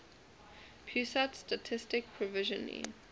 pusat statistik provisionally